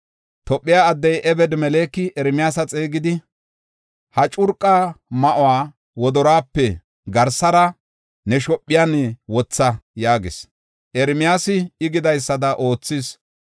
Tophe addey Ebed-Meleki Ermiyaasa xeegidi, “Ha curqa ma7uwa wodoruwape garsara ne shophiyan wotha” yaagis. Ermiyaasi I gidaysada oothis.